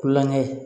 Kulonkɛ